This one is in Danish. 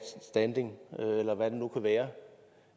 standing eller hvad det nu kan være